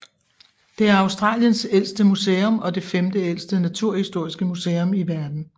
Det er Australiens ældste museum og det femteældste naturhistoriske museum i verden